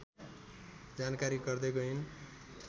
जानकारी गर्दै गइन्